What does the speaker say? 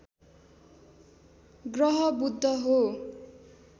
ग्रह बुध हो